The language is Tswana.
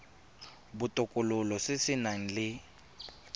botokololo se se nang le